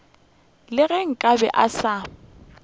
le ge nkabe a se